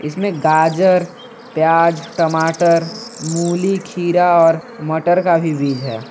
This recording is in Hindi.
इस में गाजर प्याज टमाटर मूली खीरा और मटर का भी बीज है।